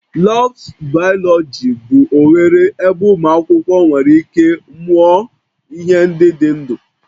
Labs biology bụ oghere ebe ụmụ akwụkwọ nwere ike mụọ ihe ndị dị ndụ